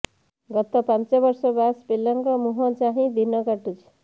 ଗତ ପାଞ୍ଚ ବର୍ଷ ବାସ୍ ପିଲାଙ୍କ ମୁହଁ ଚାହିଁ ଦିନ କାଟୁଛି